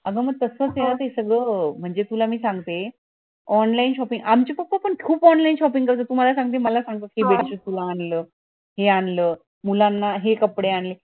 अंग म तस च ये न ते सगळं म्हणजे तुला मी सांगते online shopping आमचे papa पण खूप online shopping करतात मला सांगतात हे bedsheet तुला आणलं हे आणलं मुलांना हे कपडे आणले